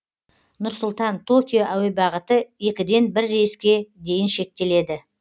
нұр сұлтан токио әуе бағыты екіден бір рейске дейін шектеледі